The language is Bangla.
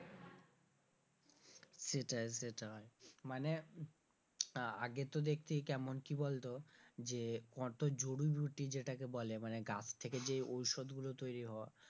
সেটাই সেটায় মানে আগে তো দেখতিই কেমন কি বলতো যে কত জরিবুটি যেটাকে বলে মানে গাছ থেকে যে ঔষধ গুলো তৈরি হওয়া,